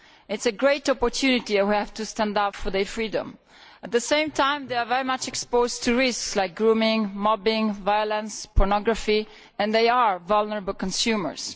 This is a great opportunity and we have to stand up for their freedom. But at the same time, they are very exposed to risks such as grooming, mobbing, violence and pornography, and they are vulnerable consumers.